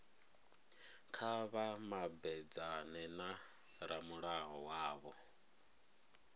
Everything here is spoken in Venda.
kha vha mabedzane na ramulayo wavho